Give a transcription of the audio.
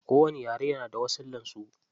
Kowani yare na da wasullan su.